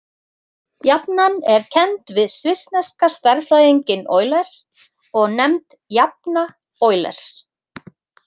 Jafnan er kennd við svissneska stærðfræðinginn Euler og nefnd jafna Eulers.